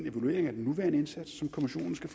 af den nuværende indsats som kommissionen skal